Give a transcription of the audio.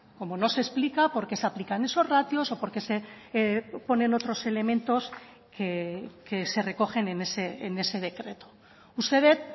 como no se explica por qué se aplican esos ratios o por qué se ponen otros elementos que se recogen en ese decreto uste dut